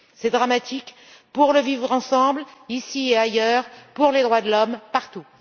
C'est dramatique pour le vivre ensemble, ici et ailleurs, et pour les droits de l'homme, partout.